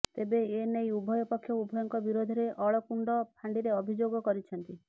ତେବେ ଏନେଇ ଉଭୟ ପକ୍ଷ ଉଭୟଙ୍କ ବିରୋଧରେ ଅଳକୁଣ୍ଡ ଫାଣ୍ଡିରେ ଅଭିଯୋଗ କରିଛନ୍ତି